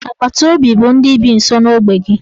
Agbataobi bụ ndị bi nso n'ogbe gị.